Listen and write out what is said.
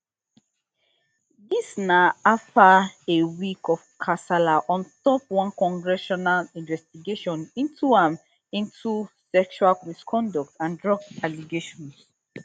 dis na afta a week of kasala on top one congressional investigation into am into sexual misconduct and drug allegations